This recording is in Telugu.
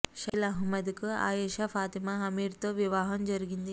షకీల్ అహ్మద్ కు ఆయేషా ఫాతిమా అమీర్ తో వివాహం జరిగింది